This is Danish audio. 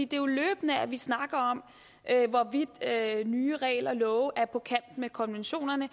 det er jo løbende at vi snakker om hvorvidt nye regler og love er på kant med konventionerne